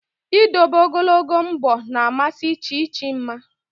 Ịdobe ogologo mbọ na amasị Chi Chi mma